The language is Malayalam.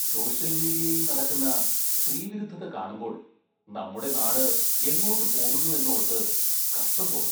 സോഷ്യല്‍ മീഡിയയില്‍ നടക്കുന്ന സ്ത്രീവിരുദ്ധത കാണുമ്പോള്‍ നമ്മുടെ നാട് എങ്ങോട്ട് പോകുന്നുവെന്നോര്‍ത്ത് കഷ്ടം തോന്നും.